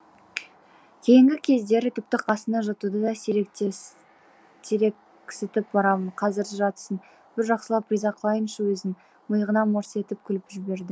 кейінгі кездері тіпті қасына жатуды да сирексітіп барамын қазір жатсын бір жақсылап риза қылайыншы өзін миығынан мырс етіп күліп жіберді